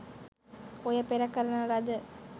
ඔය පෙර කරන ලද